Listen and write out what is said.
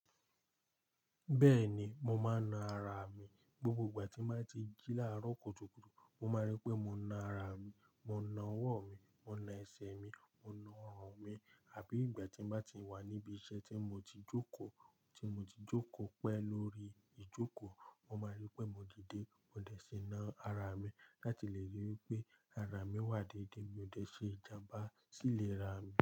Bẹ́ẹ̀ni, mo máa ń na ara mi. Gbogbo ìgbà tí mo bá ti jí láàárọ̀ kùtùkùtù, mo máa rí pé mo na ara mi, mo na ọwọ́ mi, mo na ẹsẹ̀ mi, mo na ọrùn mi. Àbí ìgbà tí mo bá ti wà níbi iṣẹ́ tí mo ti jókòó, tí mo ti jókòó pẹ́ lórí ìjókòó, mo máa rí pé mo dìde, mo dẹ̀ ṣe ná ara mi láti lè ríi wí pé ara mi wà déédéé, mi ò dẹ̀ ṣe ìjàmbá sì lè ra mi.